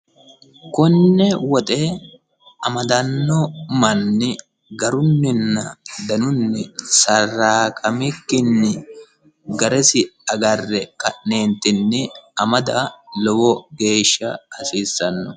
konne woxe amadanno manni garunninna danunni saraaqamikkinni garesi agarre ka'neentinni amada lowo geeshsha hasiissanno